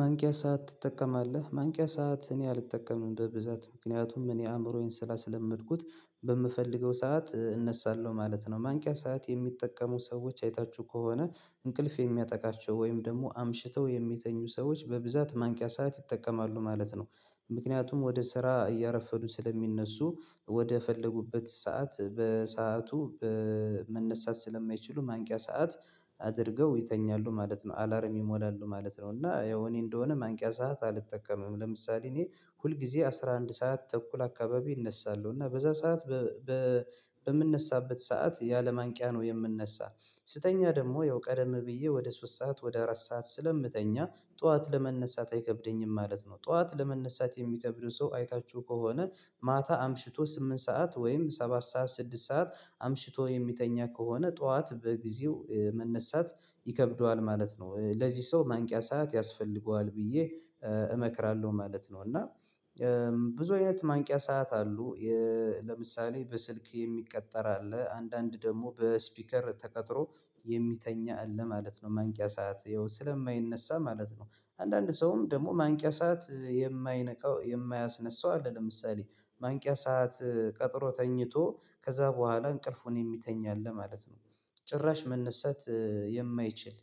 ማንቂያ ሰዓት ትጠቀማለህ? ማንቂያ ሰዓት እኔ አልጠቀምም በብዛት ምክንያቱም እኔ አእምሮዬን ስራ ስለምልኩት በምፈልገው ሰዓት እነሳለሁ ማለት ነው። ማንቂያ ሰዓት የሚጠቀሙ ሰዎች አይታችሁ ከሆነ እንቅልፍ የሚያጠቃቸው ወይም ደግሞ አምሽተው የሚተኙ ሰዎች በብዛት ማንቂያ ሰዓት ይጠቀማሉ ማለት ነው። ምክንያቱም ወደ ስራ እያረፈዱ ስለሚነሱ ወደ ፈለጉበት ሰዓት በሰአቱ መነሳት ስለማይችሉ ማንቂያ ሰዓት አድርገው ይተኛሉ ማለት ነው። አላር ይሞላሉ ማለት ነው። እና ያው እኔ እንደሆነ ማንቂያ ሰዓት አልጠቀምም። ለምሳሌ እኔ ሁልጊዜ አስራ አንድ ሰዓት ተኩል አካባቢ እነሳለሁ እና በዛ ሰዓት በምንነሳበት ሰዓት ያለ ማንቂያ ነው የምንነሳ። ስተኛ ደግሞ ያው ቀደም ብዬ ወደ ሶስት ሰዓት ወደ አራት ሰዓት ስለምተኛ ጠዋት ለመነሳት አይከብደኝም ማለት ነው። ጠዋት ለመነሳት የሚከብደው ሰው አይታችሁ ከሆነ ማታ አምሽቶ ስምንት ሰዓት ወይም ሰባት ሰዓት ስድስት ሰዓት አምሽቶ የሚተኛ ከሆነ ጠዋት በጊዜው መነሳት ይከብደዋል ማለት ነው። ለዚህ ሰው ማንቂያ ሰዓት ያስፈልገዋል ብዬ እመክራለሁ ማለት ነው። እና ብዙ አይነት ማንቂያ ሰዓት አሉ። ለምሳሌ በስልክ የሚቀጠር አለ አንዳንድ ደግሞ በስፒከር ተቀጥሮ የሚተኛ አለ ማለት ነው። ማንቂያ ሰዓት ይኸው ስለማይነሳ ማለት ነው። አንዳንድ ሰውም ደግሞ ማንቂያ ሰዓት የማይነካው የማያስነሳው አለ። ለምሳሌ ማንቂያ ሰዓት ቀጥሮ ተኝቶ ከዛ በኋላ እንቅልፉን የሚተኛ አለ ማለት ነው። ጭራሽ መነሳት የማይችል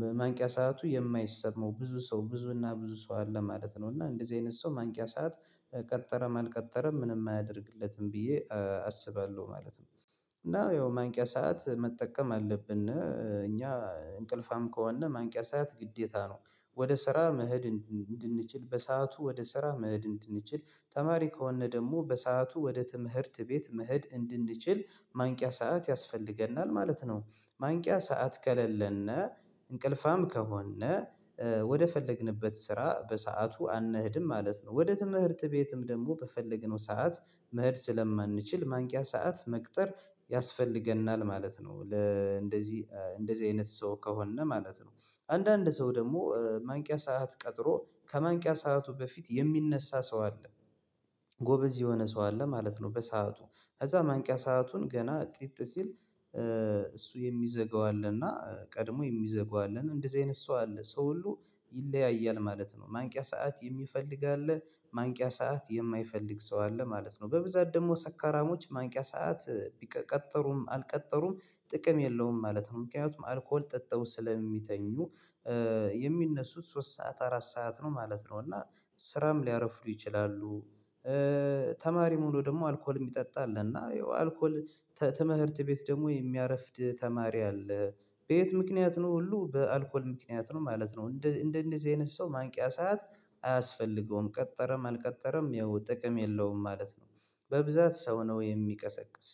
በማንቂያ ሰዓቱ የማይሰማው ብዙ ሰው ብዙ እና ብዙ ሰው አለ ማለት ነው። እና እንደዚህ አይነት ሰው ማንቂያ ሰዓት ቀጠረም አልቀጠረም ምንም አያደርግለትም ብዬ አስባለሁ ማለት ነው። እና ያው ማንቂያ ሰዓት መጠቀም አለብን እኛ እንቅልፋም ከሆነ ማንቂያ ሰዓት ግዴታ ነው። ወደ ስራ መሄድ እንድንችል በሰአቱ ወደ ስራ መሄድ እንድንችል ተማሪ ከሆነ ደግሞ በሰአቱ ወደ ትምህርት ቤት መህድ እንድንችል ማንቂያ ሰዓት ያስፈልገናል ማለት ነው። ማንቂያ ሰዓት ከሌለነ እንቅልፋም ከሆነ ወደ ፈለግንበት ስራ በሰአቱ አንሄድም ማለት ነው። ወደ ትምህርት ቤትም ደግሞ በፈለግነው ሰዓት መሄድ ስለማንችል ማንቂያ ሰዓት መቅጠር ያስፈልገናል ማለት ነው። ለእንደዚህ እንደዚህ አይነት ሰው ከሆነ ማለት ነው። አንዳንድ ሰው ደግሞ ማንቂያ ሰዓት ቀጥሮ ከማንቂያ ሰዓቱ በፊት የሚነሳ ሰው አለ። ጎበዝ የሆነ ሰው አለ ማለት ነው። በሰአቱ ከዛ ማንቂያ ሰአቱን ገና ጥጥ ሲል እሱ የሚዘጋው አለና ቀድሞ የሚዘጋው አለና እንደዚህ አይነት ሰው አለ ሰው ሁሉ ይለያያል ማለት ነው። ማንቂያ ሰዓት የሚፈልግ አለ ማንቂያ ሰዓት የማይፈልግ ሰው አለ ማለት ነው። በብዛት ደግሞ ሰካራሞች ማንቂያ ሰዓት ቢቀጠሩም አልቀጠሩም ጥቅም የለውም ማለት ነው። ምክንያቱም አልኮል ጠጥተው ስለሚተኙ የሚነሱት ሶስት ሰዓት አራት ሰዓት ነው ማለት ነው። እና ስራም ሊያረፍሉ ይችላሉ። ተማሪ ሁኖ ደግሞ አልኮል የሚጠጣ አለ እና ያው አልኮል ትምህርት ቤት ደግሞ የሚያረፍድ ተማሪ አለ። በየት ምክንያት ነው ሁሉ በአልኮል ምክንያት ነው ማለት ነው። እንደ እንደዚህ አይነት ሰው ማንቂያ ሰዓት አያስፈልገውም ቀጠረም አልቀጠረም ያው ጥቅም የለውም ማለት ነው። በብዛት ሰው ነው የሚቀሰቅስ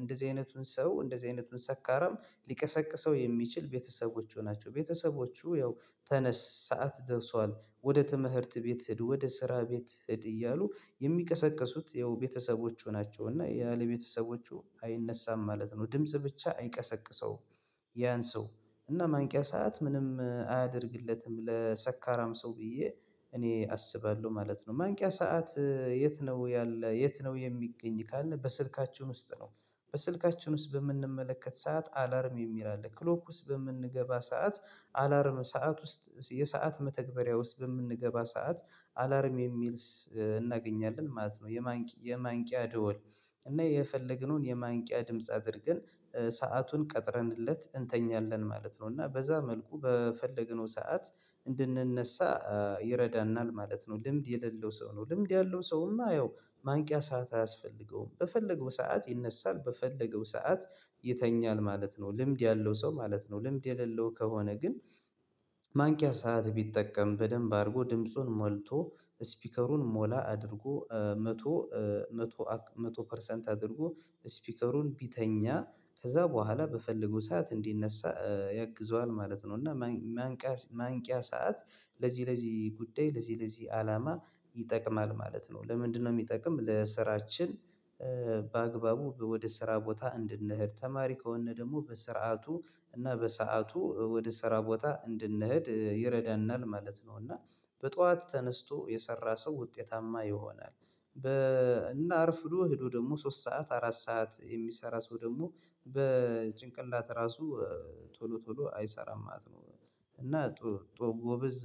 እንደዚህ አይነቱን ሰው እንደዚህ አይነቱን ሰካራም ሊቀሰቅሰው የሚችል ቤተሰቦቹ ናቸው። ቤተሰቦቹ ያው ተነስ ሰዓት ደርሷል ወደ ተመህርት ቤት ሂድ ወደ ስራ ቤት ሂድ እያሉ የሚቀሰቅሱት ያው ቤተሰቦቹ ናቸው። እና ያለ ቤተሰቦቹ አይነሳም ማለት ነው። ድምጽ ብቻ አይቀሰቅሰው። ያን ሰው እና ማንቂያ ሰዓት ምንም አያደርግለትም ለሰካራም ሰው ብዬ እኔ አስባለሁ ማለት ነው። ማንቂያ ሰዓት የት? ነው ያለ የት ነው? የሚገኝ ካልነው በስልካችን ውስጥ ነው። በስልካችን ውስጥ በምንመለከት ሰዓት አላርም የሚል አለ ክሎክ ውስጥ በምንገባ ሰዓት አላርም ሰዓት ውስጥ የሰዓት መተግበሪያውስ በምንገባ ሰዓት አላርም የሚል እናገኛለን ማለት ነው። የማንቂያ ደወል እና የፈለግነውን የማንቂያ ድምጽ አድርገን ሰአቱን ቀጥረንለት እንተኛለን ማለት ነው። እና በዛ መልኩ በፈለግነው ሰዓት እንድንነሳ ይረዳናል ማለት ነው። ልምድ የሌለው ሰው ነው ልምድ ያለው ሰው እማ ያው ማንቂያ ሰዓት አያስፈልገውም። በፈለገው ሰዓት ይነሳል በፈለገው ሰዓት ይተኛል ማለት ነው። ልምድ ያለው ሰው ማለት ነው። ልምድ የሌለው ከሆነ ግን። ማንቂያ ሰዓት ቢጠቀም በደንብ አድርጎ ድምፁን ሞልቶ ስፒከሩን ሞላ አድርጎ መቶ መቶ መቶ ፐርሰንት አድርጎ ስፒከሩን ቢተኛ ከዛ በኋላ በፈለገው ሰዓት እንዲነሳ ያግዘዋል ማለት ነው። እና ማንቂያ ማንቂያ ሰዓት ለዚህ ለዚህ ጉዳይ ለዚህ ለዚህ አላማ ይጠቅማል ማለት ነው። ለምንድነው የሚጠቅም? ለስራችን በአግባቡ ወደ ስራ ቦታ እንድንሄድ ተማሪ ከሆነ ደግሞ በስርዓቱ እና በሰአቱ ወደ ስራ ቦታ እንድንሄድ ይረዳናል ማለት ነው። እና በጧት ተነስቶ የሰራ ሰው ውጤታማ ይሆናል። በ እና አርፍዶ ሄዶ ደግሞ ሶስት ሰዓት አራት ሰዓት የሚሰራ ሰው ደግሞ በጭንቅላት ራሱ ቶሎ ቶሎ አይሰራም ማለት ነው። እና ጦር ጎበዝ